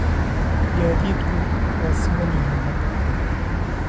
Gaadiidku waa siman yihiin hadda